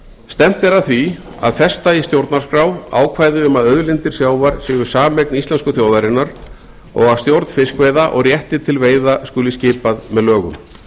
stefnt er að því að festa í stjórnarskrá ákvæði um að auðlindir sjávar séu sameign íslensku þjóðarinnar og að stjórn fiskveiða og réttur til veiða skuli skipað með lögum